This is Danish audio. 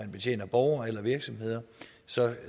betjener borgere eller virksomheder